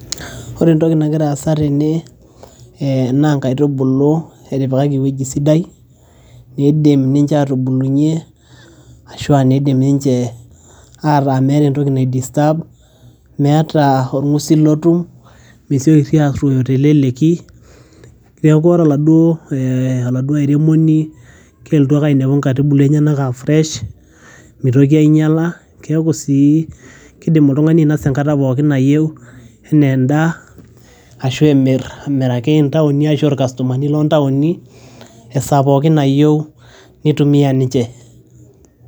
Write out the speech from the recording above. ore entoki nagira aasa tene naa inkaitubulu etipikaki ewueji sidai nidim ninche atubulunyie ashua nidim ninche ata meeta entoki nae disturb meeta orng'usil lotum mesioki sii arruoyo teleleki neeku ore oladuo eeh, oladuo airemoni kelotu ake ainepu inkaitubulu enyenak aa fresh mitoki ainyiala keeku sii kidim oltung'ani ainasa enkata pookin nayieu enaa endaa ashu emirr amiraki intaoni ashu irkastomani lontaoni esaa pookin nayieu nitumia ninche.